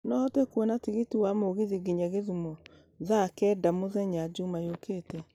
no hote kũona tigiti wa mũgithi nginya githumo thaa kenda mũthenya jũma yũkĩte